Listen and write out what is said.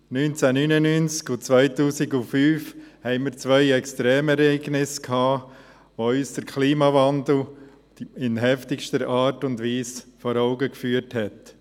1999 und 2005 hatten wir zwei Extremereignisse, die uns den Klimawandel in heftigster Art und Weise vor Augen führten.